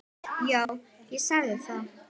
Já, ég sagði það.